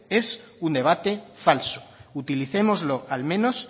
es un debate falso utilicémoslo al menos